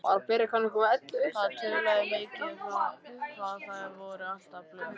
Þau töluðu mikið um það hvað þau væru alltaf blönk.